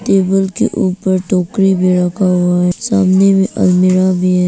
Table के ऊपर टोकरी में रखा हुआ है सामने में अलमीरा भी है।